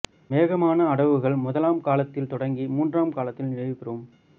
வேகமான அடவுகள் முதலாம் காலத்தில் தொடங்கி மூன்றாம் காலத்தில் நிறைவுறும்